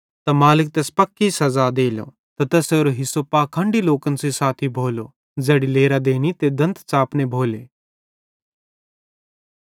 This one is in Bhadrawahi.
ते मालिक तैस पक्की सज़ा देलो ते तैसेरो हिस्सो पाखंडी लोकन सेइं साथी भोलो ज़ैड़ी लेरां देनी ते दंत च़ापने भोले